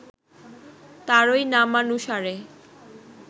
তারই নামানুসারে